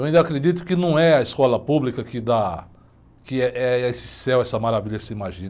Eu ainda acredito que não é a escola pública que da, que, eh, é esse céu, essa maravilha que se imagina.